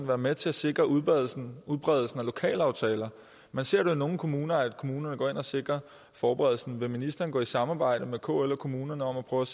være med til at sikre udbredelsen udbredelsen af lokalaftaler man ser det nogle kommuner at kommunerne går ind og sikrer forberedelsen vil ministeren gå i samarbejde med kl og kommunerne om at prøve